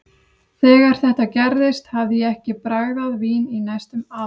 Þegar þetta gerðist hafði ég ekki bragðað vín í næstum ár.